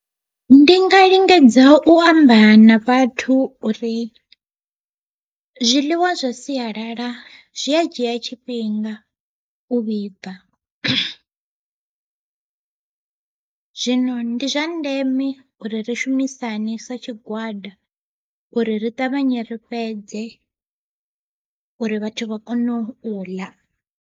Ndi nga lingedza u amba na vhathu uri zwiḽiwa zwa sialala zwi a dzhia tshifhinga u vhibva, zwino ndi zwa ndeme uri ri shumisane sa tshigwada uri ri ṱavhanye ri fhedze uri vhathu vha kone u ḽa.